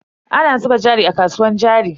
Ana zuba jari a kasuwar jari.